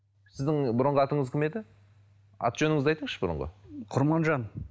сіздің бұрынғы атыңыз кім еді аты жөніңізді айтыңызшы бұрынғы құрманжан